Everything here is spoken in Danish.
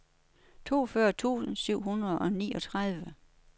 toogfyrre tusind syv hundrede og niogtredive